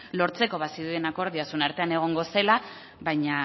lortzeko bazirudien akordioa zuen artean egongo zela baino